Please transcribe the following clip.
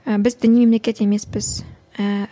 і біз діни мемлекет емеспіз ііі